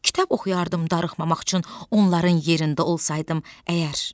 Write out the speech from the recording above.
Kitab oxuyardım darıxmamaq üçün onların yerində olsaydım əgər.